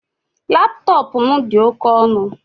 Laptọọpụ m dị oke ọnụ